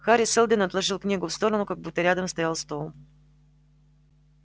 хари сэлдон отложил книгу в сторону как будто рядом стоял стол